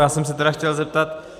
Já jsem se teda chtěl zeptat.